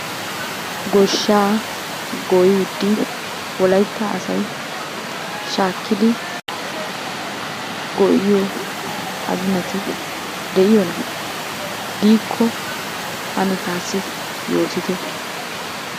Goshsha goyyidi wolaytta asay shaakidi goyyiyo aginati de'iyoona? Diiko ane taassi yootite?